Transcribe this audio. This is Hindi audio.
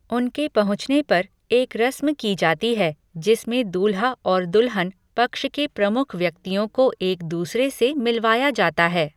उनके पहुँचने पर, एक रस्म की जाती है जिस में दूल्हा और दुल्हन पक्ष के प्रमुख व्यक्तियों को एक दूसरे से मिलवाया जाता है।